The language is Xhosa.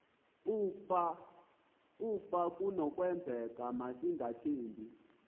ukaba kunokwenzeka masingathengi